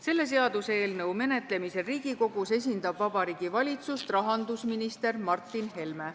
Selle seaduseelnõu menetlemisel Riigikogus esindab Vabariigi Valitsust rahandusminister Martin Helme.